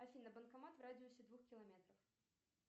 афина банкомат в радиусе двух километров